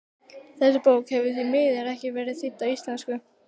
Þessi bók hefur því miður ekki verið þýdd á íslensku.